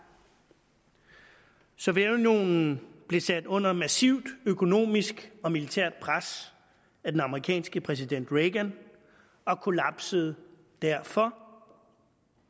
sovjetunionen blev sat under massivt økonomisk og militært pres af den amerikanske præsident reagan og kollapsede derfor